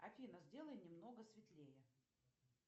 афина сделай немного светлее